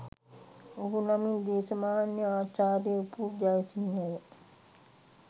ඔහු නමින් දේශමාන්‍ය ආචාර්ය උපුල් ජයසිංහය